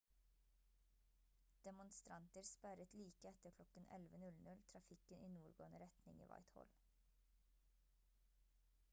demonstranter sperret like etter klokken 11:00 trafikken i nordgående retning i whitehall